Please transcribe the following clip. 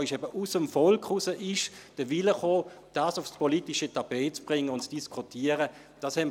Der Wille, dies aufs politische Tapet zu bringen und zu diskutieren, kam eben aus dem Volk.